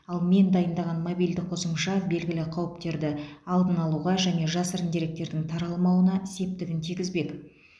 ал мен дайындаған мобильді қосымша белгілі қауіптерді алдын алуға және жасырын деректердің таралмауына септігін тигізбек